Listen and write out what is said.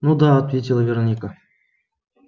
ну да ответила вероника